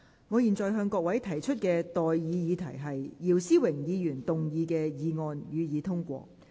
我現在向各位提出的待議議題是：姚思榮議員動議的議案，予以通過。